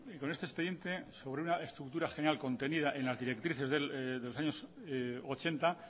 con este expediente sobre una estructura general contenida en las directrices de los años mil novecientos ochenta